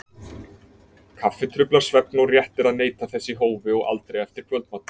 Kaffi truflar svefn og rétt er að neyta þess í hófi og aldrei eftir kvöldmat.